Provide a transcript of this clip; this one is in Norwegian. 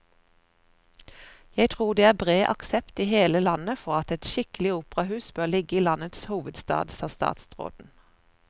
Jeg tror det er bred aksept i hele landet for at et skikkelig operahus bør ligge i landets hovedstad, sa statsråden.